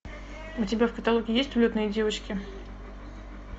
у тебя в каталоге есть улетные девочки